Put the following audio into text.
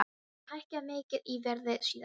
Hún hefur hækkað mikið í verði síðan.